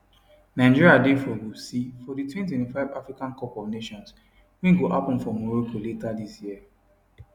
nigeria dey for group c for di 2025 africa cup of nations wey go happun for morocco later dis year